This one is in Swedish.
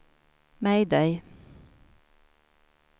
mayday